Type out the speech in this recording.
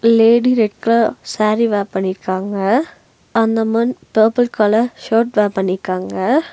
Lady red colour sari wear பண்ணிருக்காங்க அந்த men purple colour shirt wear பண்ணிருக்காங்க.